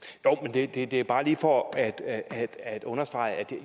det er det er bare lige for at at understrege at